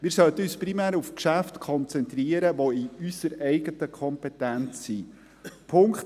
Wir sollten uns primär auf Geschäfte konzentrieren, die in unserer eigenen Kompetenz liegen.